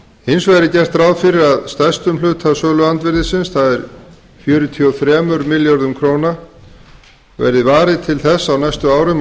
hins vegar er gert ráð fyrir að stærstum hluta söluandvirðisins það er fjörutíu og þremur milljörðum króna verði varið til þess á næstu árum að